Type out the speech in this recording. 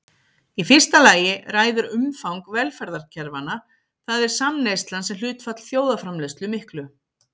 Í fyrsta lagi ræður umfang velferðarkerfanna, það er samneyslan sem hlutfall þjóðarframleiðslu miklu.